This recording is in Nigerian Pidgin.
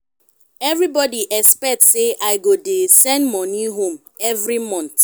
everybody expect sey i go dey send money home every month.